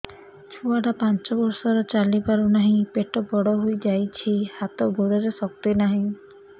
ଛୁଆଟା ପାଞ୍ଚ ବର୍ଷର ଚାଲି ପାରୁ ନାହି ପେଟ ବଡ଼ ହୋଇ ଯାଇଛି ହାତ ଗୋଡ଼ରେ ଶକ୍ତି ନାହିଁ